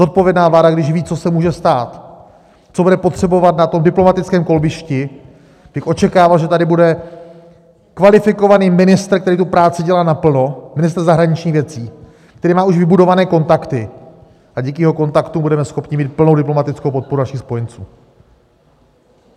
Zodpovědná vláda, když ví, co se může stát, co bude potřebovat na tom diplomatickém kolbišti, bych očekával, že tady bude kvalifikovaný ministr, který tu práci dělá naplno, ministr zahraničních věcí, který má už vybudované kontakty, a díky jeho kontaktům budeme schopni mít plnou diplomatickou podporu našich spojenců.